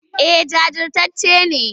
Eh jajirtacce ne.